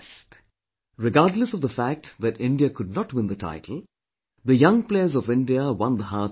Regardless of the fact that India could not win the title, the young players of India won the hearts of everyone